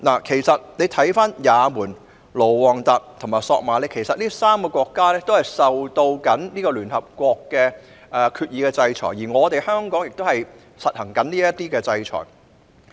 其實，也門、盧旺達和索馬里這3個國家正受到聯合國決議的制裁，而香港亦正在實施這些制裁措施。